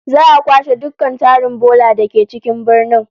Za'a kwashe dukkan tarin bola da ke cikin birnin